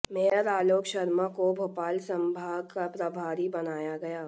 mayor Alok Sharma को भोपाल संभाग का प्रभारी बनाया गया